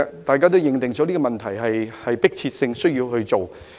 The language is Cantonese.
大家都認定這個問題有迫切性，需要處理。